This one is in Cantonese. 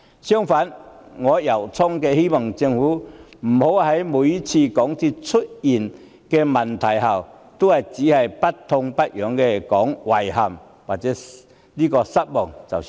相反，我衷心希望港鐵公司每次出問題後，政府不要只是不痛不癢地說"遺憾"或"失望"。